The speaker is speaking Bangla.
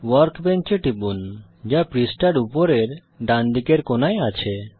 ওয়ার্কবেঞ্চ এ টিপুন যা পৃষ্ঠার উপরের ডানদিকের কোণায় আছে